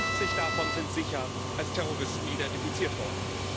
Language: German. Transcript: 50 davon sind sicher als Terroristen identifiziert worden.